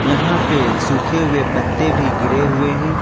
यहां पे सूखे हुए पत्ते भी गिरे हुए हैं।